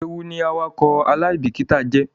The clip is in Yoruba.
Ewu ni awakọ alaibikita jẹ.